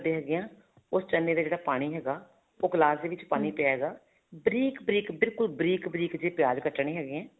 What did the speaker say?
ਹੈਗੇ ਹਾਂ ਉਸ ਚਨੇ ਦਾ ਜਿਹੜਾ ਪਾਣੀ ਹੈਗਾ ਉਹ ਗਿਲਾਸ ਦੇ ਵਿੱਚ ਹੇਗਾ ਬਰੀਕ ਬਰੀਕ ਬਿਲਕੁਲ ਬਰੀਕ ਬਰੀਕ ਜਿਹੇ ਪਿਆਜ ਕੱਟਨੇ ਹੈਗੇ ਹੈ